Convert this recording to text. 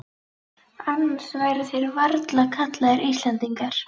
Annars væru þeir varla kallaðir Íslendingar.